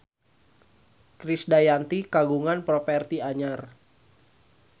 Krisdayanti kagungan properti anyar